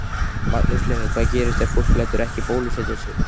Magnús Hlynur: Hvað gerist ef fólk lætur ekki bólusetja sig?